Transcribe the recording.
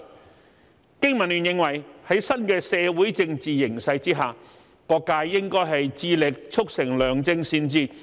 香港經濟民生聯盟認為，在新的社會政治形勢下，各界應致力促成良政善治。